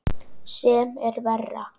Sem er verra.